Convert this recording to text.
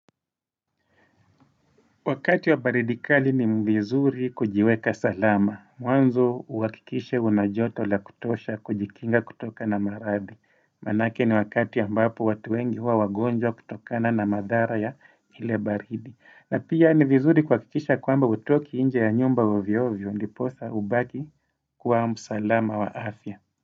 Wakati wa baridi kali ni mvizuri kujiweka salama. Mwanzo uhakikishe unajoto la kutosha kujikinga kutoka na maradhi. Manake ni wakati ambapo watu wengi huwa wagonjwa kutokana na madhara ya ile baridi. Na pia ni vizuri kuhakikisha kwamba hutoki nje ya nyumba ovyo vyo ndiposa ubaki kuwa msalama wa afya.